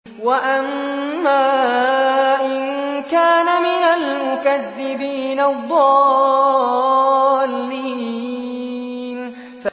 وَأَمَّا إِن كَانَ مِنَ الْمُكَذِّبِينَ الضَّالِّينَ